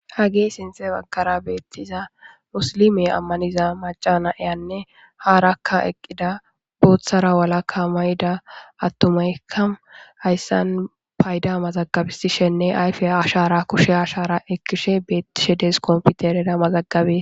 Hagee sinxe bakara beettiza musilime ammaniza maca na eyanne haarakka eqqida booththara walakka mayida attumayka hayssan payda mazagabisishenne ayfe ashara kushe ashara ekkishe beettishe des komfutereda mazagabe.